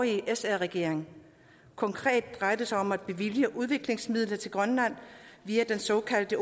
sr regering konkret drejer det sig om at bevilge udviklingsmidler til grønland via den såkaldte